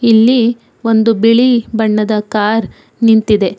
ಇಲ್ಲಿ ಒಂದು ಬಿಳಿ ಬಣ್ಣದ ಕಾರ್ ನಿಂತಿದೆ